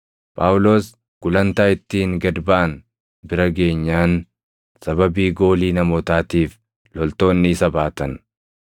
Phaawulos gulantaa ittiin gad baʼan bira geenyaan sababii goolii namootaatiif loltoonni isa baatan.